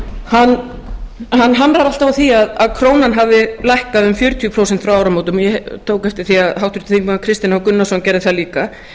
hann hamrar alltaf á því að krónan hafi lækkað um fjörutíu prósent frá áramótum og ég tók eftir því að háttvirtur þingmaður kristinn h gunnarsson gerði það líka